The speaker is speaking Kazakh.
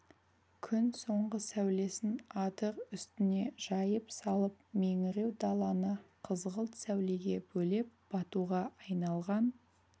күн соңғы сәулесін адыр үстіне жайып салып меңіреу даланы қызғылт сәулеге бөлеп батуға айналған